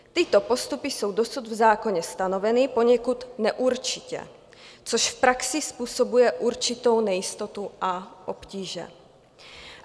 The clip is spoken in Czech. Tyto postupy jsou dosud v zákoně stanoveny poněkud neurčitě, což v praxi způsobuje určitou nejistotu a obtíže."